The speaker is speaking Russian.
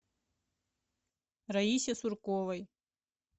раисе сурковой